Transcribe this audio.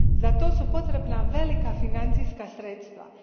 Za to su potrebna velika financijska sredstva.